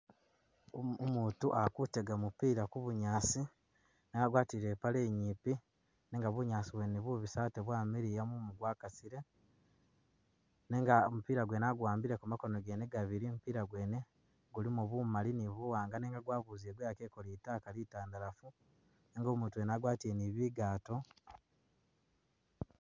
Umuutu ali kutega mupila Ku bunyaasi agwatile i'paale nyipi nenga bunyaasi bwene bubisi ate bwamiliya mumu gwakasile nenga mupila gwene a'guwambile makoono gene gabili, mupila gwene gulimo bumali ni buwaanga nenga gwa buzile gweyakile ko litaka litandalafu nenga umuutu wene agwatile ni bigaato